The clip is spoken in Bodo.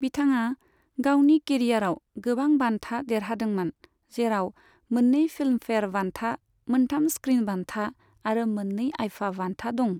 बिथाङा गावनि केरियाराव गोबां बान्था देरहादोंमोन, जेराव मोन्नै फिल्मफेयार बान्था, मोनथाम स्क्रिन बान्था आरो मोन्नै आइफा बान्था दं।